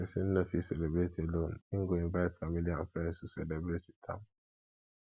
persin no fit celebrate alone in go invite family and friends to celebrate with am